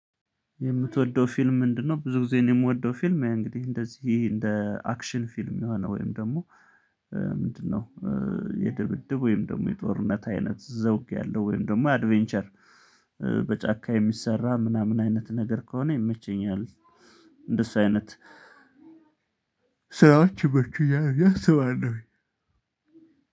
የምትወደው ፊልም ምንድነው? ብዙ ጊዜ የምወደው ፊልም እንግዲህ እንደዚህ እንደ አክሽን ፊልም የሆነ ወይም ደግሞ ምንድነው የድብድብ ወይም ደግሞ የጦርነት አይነት ዘውጊያለሁ ወይም ደግሞ አድቬንቸር በጫካ የሚሰራ ምናምን አይነት ነገር ከሆነ ይመቸኛል። እንደሱ አይነት ስራዎች ይመቹኛል ብዬ አስባለሁኝ።